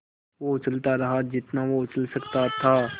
वो उछलता रहा जितना वो उछल सकता था